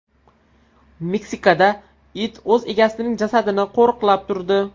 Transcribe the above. Meksikada it o‘z egasining jasadini qo‘riqlab turdi .